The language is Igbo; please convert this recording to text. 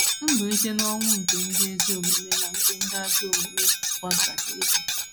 Mbilite n’ọnwụ nke ndị ezi omume na nke ndị ajọ omume kwa gaje ịdị.